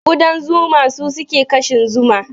Kudan zuma su suke kashin zuma